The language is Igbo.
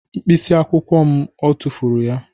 Mkpịsị akwụkwọ m tụfuru ya